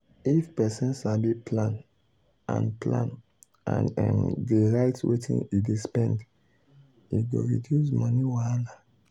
if person sabi plan and plan and um dey write wetin e dey spend e go reduce money wahala.